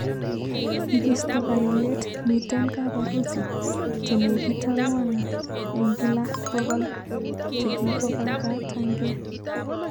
Ikisto kailet, miten kap harusi che nekit akwang eng kila 100 che kikopakatangee.